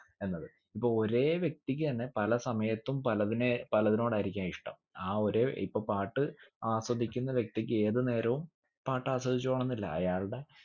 എന്നത് ഇപ്പൊ ഒരേ വ്യക്തിക്ക് തന്നെ പല സമയത്തും പലതിനെ പലതിനോടായിരിക്ക ഇഷ്ട്ടം ആ ഒരേ ഇപ്പൊ പാട്ട് ആസ്വദിക്കുന്ന വ്യക്തിക്ക് ഏത് നേരവും പാട്ട് ആസ്വദിച്ചോണംന്നില്ല അയാൾടെ